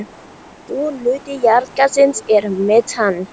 Stór hluti jarðgassins er metan.